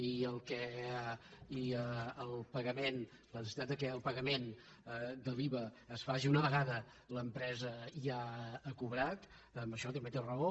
i en el pagament en la necessitat que el pagament de l’iva es faci una vegada l’empresa ja ha cobrat en això també té raó